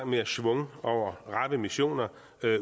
mere schwung over rappe missioner